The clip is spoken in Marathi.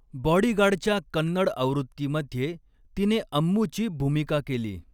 बॉडीगार्डच्या कन्नड आवृत्तीमध्ये तिने अम्मूची भूमिका केली.